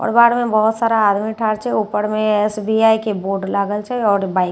आओर बाड़ मे बहुत सारा आदमी ठाढ़ छे ऊपर में एस_बी_आई के बोर्ड लागल छे आओर बाइक छे--